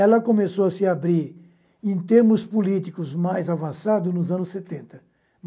Ela começou a se abrir em termos políticos mais avançados nos anos setenta.